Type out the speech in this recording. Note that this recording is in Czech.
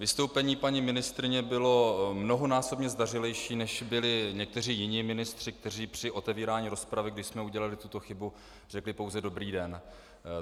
Vystoupení paní ministryně bylo mnohonásobně zdařilejší, než byli někteří jiní ministři, kteří při otevírání rozpravy, kdy jsme udělali tuto chybu, řekli pouze dobrý den.